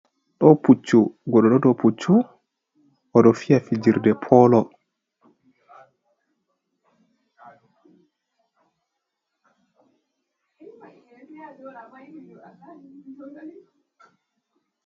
Ɗo pucchu, goɗɗo ɗo dou pucchu oɗo fija fijirde polo.